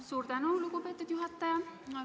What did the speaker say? Suur tänu, lugupeetud juhataja!